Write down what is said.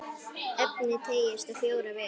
Efnið teygist á fjóra vegu.